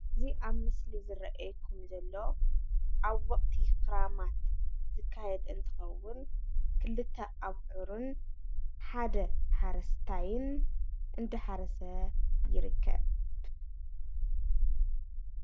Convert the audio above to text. ሓረስታይ ኣውዕር ፀሚዱ እንዳሓረሰ ይረከብ።